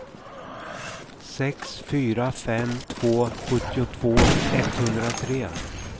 sex fyra fem två sjuttiotvå etthundratre